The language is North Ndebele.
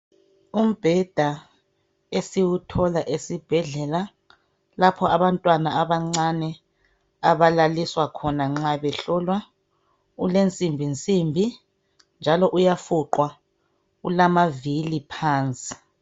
Umbheda esiwuthola esibhedlela lapho abantwana abancane abalaliswa khona nxa behlolwa ulensimbi nsimbi njalo uyafuqwa ulamavili phansi.